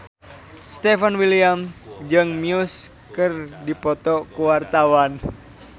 Stefan William jeung Muse keur dipoto ku wartawan